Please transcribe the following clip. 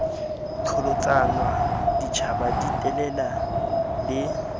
qholotsanwa ditjhaba di telela le